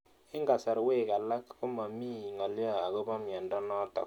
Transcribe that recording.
Eng'kasarwek alak ko mami ng'alyo akopo miondo notok